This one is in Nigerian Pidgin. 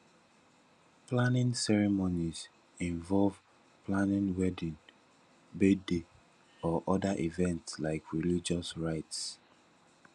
planning ceremonies involve planning wedding birthday or oda events like religious rites